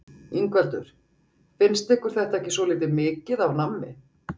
Ingveldur: Finnst ykkur þetta ekki svolítið mikið af nammi?